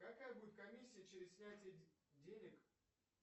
какая будет комиссия через снятие денег